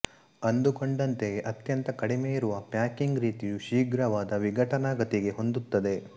ಅಂದುಕೊಂಡಂತೆಯೇ ಅತ್ಯಂತ ಕಡಿಮೆಯಿರುವ ಪ್ಯಾಕಿಂಗ್ ರೀತಿಯು ಶೀಘ್ರವಾದ ವಿಘಟನಾ ಗತಿಗೆ ಹೊಂದುತ್ತದೆ